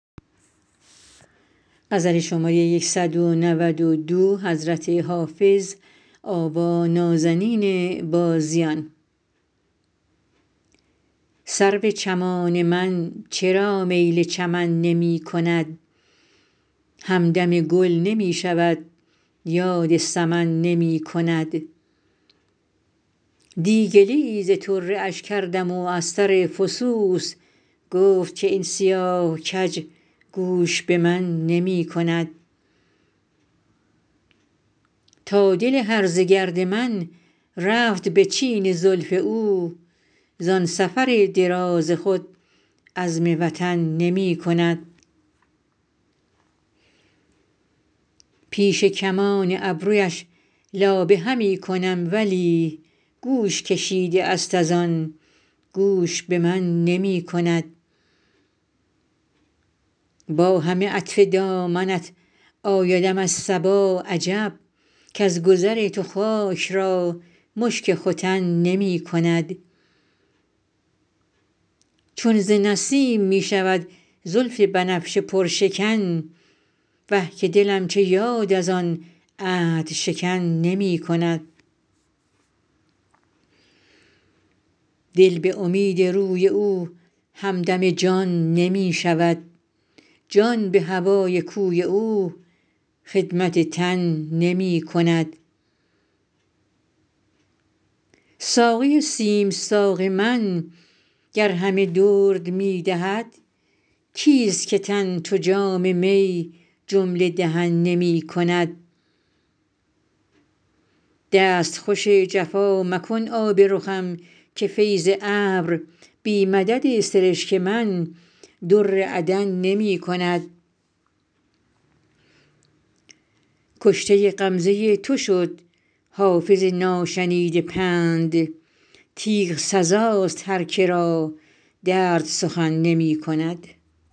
سرو چمان من چرا میل چمن نمی کند همدم گل نمی شود یاد سمن نمی کند دی گله ای ز طره اش کردم و از سر فسوس گفت که این سیاه کج گوش به من نمی کند تا دل هرزه گرد من رفت به چین زلف او زان سفر دراز خود عزم وطن نمی کند پیش کمان ابرویش لابه همی کنم ولی گوش کشیده است از آن گوش به من نمی کند با همه عطف دامنت آیدم از صبا عجب کز گذر تو خاک را مشک ختن نمی کند چون ز نسیم می شود زلف بنفشه پرشکن وه که دلم چه یاد از آن عهدشکن نمی کند دل به امید روی او همدم جان نمی شود جان به هوای کوی او خدمت تن نمی کند ساقی سیم ساق من گر همه درد می دهد کیست که تن چو جام می جمله دهن نمی کند دستخوش جفا مکن آب رخم که فیض ابر بی مدد سرشک من در عدن نمی کند کشته غمزه تو شد حافظ ناشنیده پند تیغ سزاست هر که را درد سخن نمی کند